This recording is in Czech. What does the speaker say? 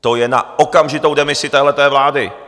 To je na okamžitou demisi téhle vlády!